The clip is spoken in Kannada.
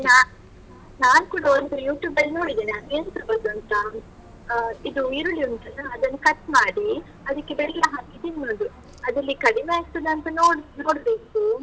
ನಾನ್ ನಾನ್ ಕೂಡ ಒಂದು YouTube ಅಲ್ಲಿ ನೋಡಿದ್ದೇನೆ. ಅದು ಎಂತ ಗೊತ್ತುಂಟಾ? ಆ ಇದು ಈರುಳ್ಳಿ ಉಂಟಲ್ಲ, ಅದನ್ನು cut ಮಾಡಿ, ಅದಿಕ್ಕೆ ಬೆಲ್ಲ ಹಾಕಿ, ತಿನ್ನುದು. ಅದ್ರಲ್ಲಿ ಕಡಿಮೆ ಆಗ್ತಾದ ಅಂತ ನೋಡ್ಬೇಕು.